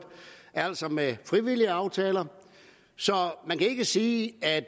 altså med frivillige aftaler så man kan ikke sige at